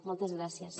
moltes gràcies